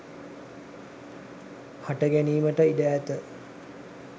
හට ගැනීමට ඉඩ ඇත